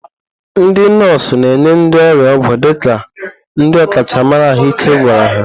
Ndị nọọsụ na-enye ndị ọrịa ọgwụ dịka ndị ọkachamara ahụike gwara ha.